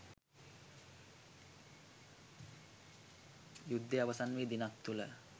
යුද්ධය අවසන් වී දිනක් තුළ